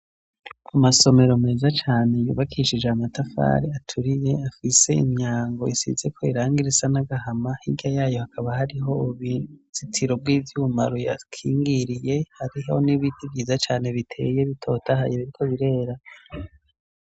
Amasomero meza cane yubakishije amatafari aturiye, afise imyango isizeko irangi risa n'agahama, hirya y'ayo hakaba hariho uruzitiro rw'ivyuma ruyakiringiye, hariho n'ibiti vyiza cane biteye bitotahaye, biriko birera.